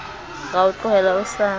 ra o tlohela o sa